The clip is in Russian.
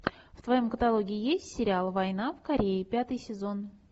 в твоем каталоге есть сериал война в корее пятый сезон